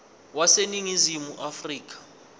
wase ningizimu afrika